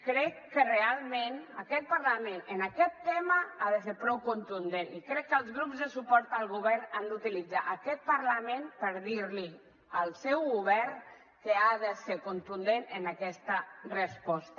crec que realment aquest parlament en aquest tema ha de ser prou contundent i crec que els grups de suport al govern han d’utilitzar aquest parlament per dir li al seu govern que ha de ser contundent en aquesta resposta